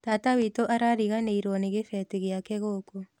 Tata witũ arariganĩirwo nĩ gĩbeti gĩake gũkũ